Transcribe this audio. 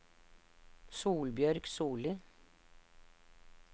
Solbjørg Solli